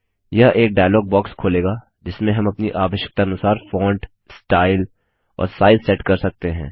यह एक dialogue box खोलेगा जिसमें हम अपनी आवश्यकतानुसार फॉन्ट स्टाइल और साइज़ सेट कर सकते हैं